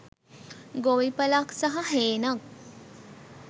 ගොවිපලක් සහ හේනක්